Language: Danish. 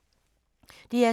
DR2